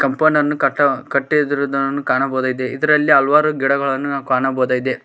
Compound ಅನ್ನು ಕಟ್ಟ್ ಕಟ್ಟಿದ್ರುದ್ದನ್ನು ಕಾಣಬೋದಾಗಿದೆ ಇದರಲ್ಲಿ ಹಲವಾರು ಗಿಡಗಳನ್ನು ನಾವು ಕಾಣಬೋದಾಗಿದೆ.